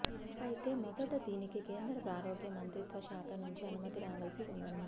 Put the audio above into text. అయితే మొదట దీనికి కేంద్ర ఆరోగ్య మంత్రిత్వ శాఖ నుంచి అనుమతి రావలసి ఉందన్నారు